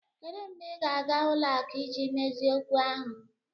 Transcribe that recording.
Kedu mgbe ị ga-aga ụlọ akụ iji mezie okwu ahụ?